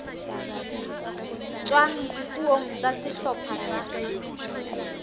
tswang dipuong tsa sehlopha sa